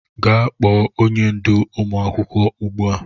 Gaa kpo onye ndú ụmụ akwụkwọ ugbua!